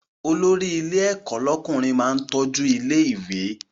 Olórí ilé ẹ̀kọ́ lọ́kùnrin máa ń tọ́jú ilé ìwé